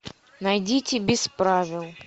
найдите без правил